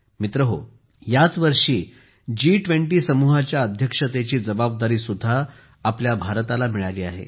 मित्रहो या वर्षी G20 समूहाच्या अध्यक्षतेची जबाबदारी सुद्धा भारताला मिळाली आहे